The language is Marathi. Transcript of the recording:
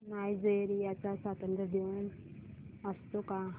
नायजेरिया चा स्वातंत्र्य दिन असतो का